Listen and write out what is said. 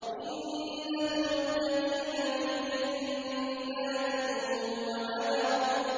إِنَّ الْمُتَّقِينَ فِي جَنَّاتٍ وَنَهَرٍ